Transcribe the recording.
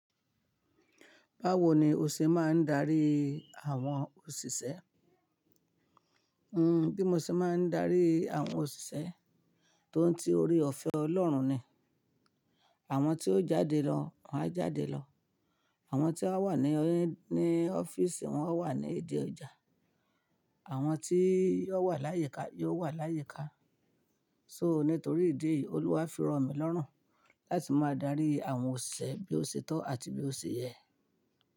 Báwo ni o ṣe máa ń darí àwọn òṣìṣẹ́? Hmm bí mo ṣe máa ń darí àwọn òṣìṣẹ́, tóun ti orí ọ̀fẹ́ Ọlọ́run ni. Àwọn tí ó jáde lọ, wọ́n á jáde lọ. Àwọn tí à wà ní ọ́fíìsì, wọn á wà ní ìdí ọjà. Àwọn tí yóò wà láyíká, yóò wà láyíká. So nítorí ìdí eyìí, Olúwa fí ro mi lọ́rùn láti máa darí àwọn òṣìṣẹ́ bí ó ṣe tọ́ àti bí ó ṣe yẹ.